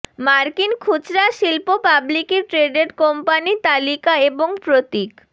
মার্কিন খুচরা শিল্প পাবলিকি ট্রেডেড কোম্পানি তালিকা এবং প্রতীক